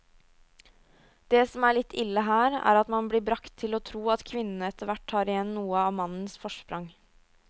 Det som er litt ille her, er at man blir bragt til å tro at kvinnene etterhvert tar igjen noe av mannens forsprang.